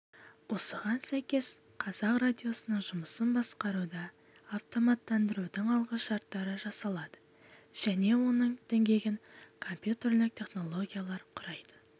осыған сәйкес қазақ радиосының жұмысын басқаруда автоматтандырудың алғышарттары жасалады және оның діңгегін компьютерлік технологиялар құрайды